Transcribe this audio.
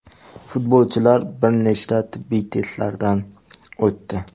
Futbolchilar bir nechta tibbiy testlardan o‘tdi.